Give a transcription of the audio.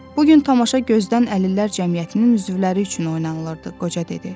Bu gün tamaşa gözdən əlillər cəmiyyətinin üzvləri üçün oynanılırdı, qoca dedi.